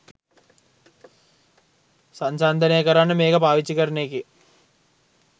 සන්සන්දනය කරන්න මේක පාවිච්චි කරන එකේ